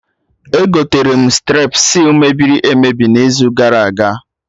Egoterem strepsils mebiri emebi n'izu gara aga